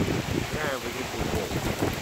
сыграем в игру футбол